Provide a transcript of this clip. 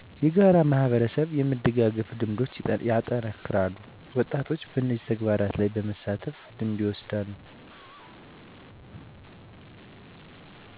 የጋራ ማህበራዊ የመደጋገፍ ልምዶች ይጠናከራሉ ወጣቶችም በነዚህ ተግባራት ላይ በመሳተፍ ልምድ ይወስዳሉ